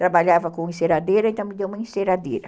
Trabalhava com enceradeira, então me deu uma enceradeira.